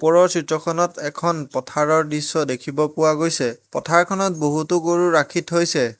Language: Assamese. ওপৰৰ চিত্ৰখনত এখন পথাৰৰ দৃশ্য দেখিব পোৱা গৈছে পথাৰখনত বহুতো গৰু ৰাখি থৈছে।